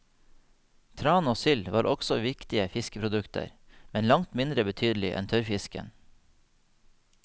Tran og sild var også viktige fiskeprodukter, men langt mindre betydelige enn tørrfisken.